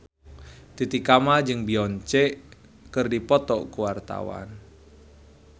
Titi Kamal jeung Beyonce keur dipoto ku wartawan